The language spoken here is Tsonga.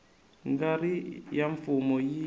nga ri ya mfumo yi